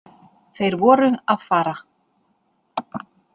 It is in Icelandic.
Þeir voru að fara.